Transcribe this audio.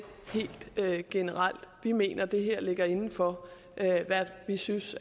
helt generelt vi mener at det her ligger inden for hvad vi synes